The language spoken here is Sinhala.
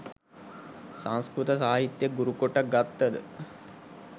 සංස්කෘත සාහිත්‍ය ගුරුකොට ගත්තද